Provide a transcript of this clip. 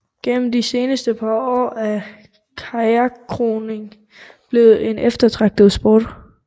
Gennem de seneste par år er kajakroning blevet en eftertragtet sport